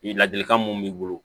Ladilikan mun b'i bolo